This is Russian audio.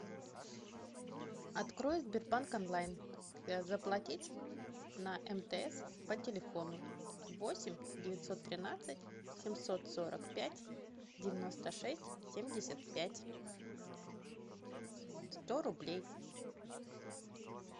открой сбербанк онлайн заплатить на мтс по телефону восемь девятьсот тринадцать семьсот сорок пять девяносто шесть семьдесят пять сто рублей